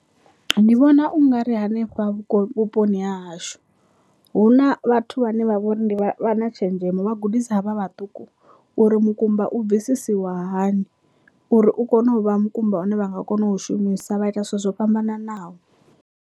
Ndi vhona ungari hanefha vhuponi ha hashu hu na vhathu vhane vha vhori vha na tshenzhemo vha gudisa havha vhaṱuku uri mukumba u bvisisiwa hani uri u kone u vha mukumba une vha nga kona u shumisa vha ita zwithu zwo fhambananaho.